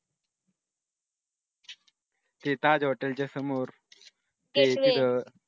ते taj hotel च्या समोर